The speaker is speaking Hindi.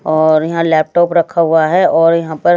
और यहां लैपटॉप रखा हुआ है और यहां पर--